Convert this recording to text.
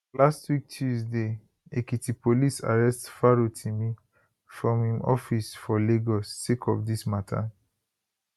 last week tuesday ekiti police arrest farotimi from im office for lagos sake of dis mata